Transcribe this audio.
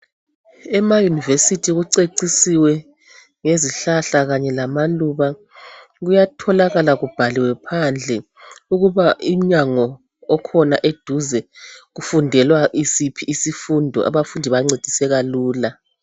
Emauniversity kucecisiwe ngezihlahla kanye lamaluba. Kuyatholakala kubhaliwe phandle ukuba iminyango okhona eduze kufundelwa isiphi isifundo abafundi bancediseka lula.